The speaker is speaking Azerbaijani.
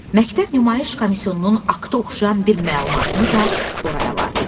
Məktəb nümayiş komissiyonunun akta oxşayan bir məlumatını da ora əlavə etdi.